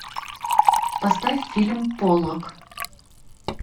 поставь фильм поллок